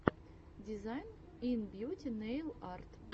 дизайн ин бьюти нэйл арт